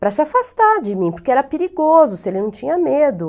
para se afastar de mim, porque era perigoso, se ele não tinha medo.